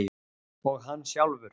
Og hann sjálfur.